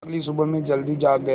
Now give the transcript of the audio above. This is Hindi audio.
अगली सुबह मैं जल्दी जाग गया